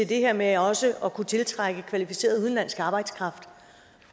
det her med også at kunne tiltrække kvalificeret udenlandsk arbejdskraft